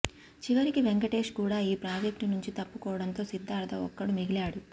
చివరికి వెంకటేష్ కూడా ఈ ప్రాజెక్టు నుంచి తప్పుకోవడంతో సిద్ధార్థ ఒక్కడు మిగిలాడు